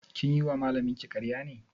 Kin yi wa malamin ki ƙaraya?